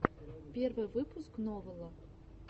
первый выпуск новала